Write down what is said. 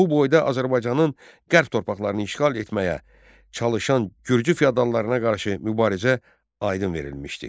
Bu boyda Azərbaycanın qərb torpaqlarını işğal etməyə çalışan gürcü feodallarına qarşı mübarizə aydın verilmişdi.